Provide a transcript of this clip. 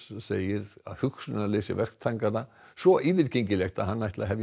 segir hugsunarleysi verktakanna svo yfirgengilegt að hann ætli að hefja